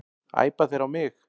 Æpa þeir á mig?